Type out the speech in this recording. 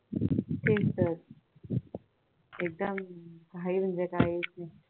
तेच तर एकदा घाई म्हणजे काय आहे